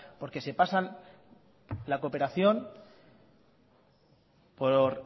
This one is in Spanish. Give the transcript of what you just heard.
porque se pasan la cooperación por